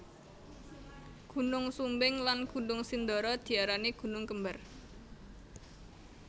Gunung Sumbing lan Gunung Sindoro diarani gunung kembar